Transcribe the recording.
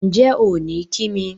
Ǹjẹ́ ò ní kí mi?